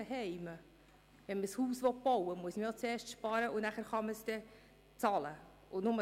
Wenn man ein Haus bauen will, muss man auch zuerst sparen, damit man es nachher bezahlen kann.